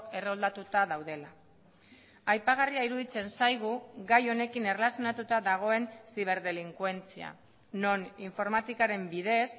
erroldatuta daudela aipagarria iruditzen zaigu gai honekin erlazionatuta dagoen ziberdelinkuentzia non informatikaren bidez